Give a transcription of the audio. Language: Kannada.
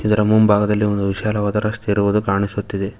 ಇದರ ಮುಂಭಾಗದಲ್ಲಿ ಒಂದು ವಿಶಾಲವಾದ ರಸ್ತೆ ಇರುವುದು ಕಾಣಿಸುತ್ತಿದೆ.